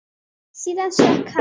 Síðan stökk hann.